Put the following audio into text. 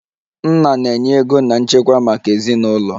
Nna na-enye ego na nchekwa maka ezinụlọ